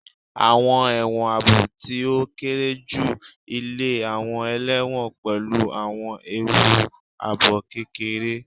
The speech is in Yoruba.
Awọn ẹwọn aabo ti o kere ju ile awọn ẹlẹwọn pẹlu awọn eewu aabo kekere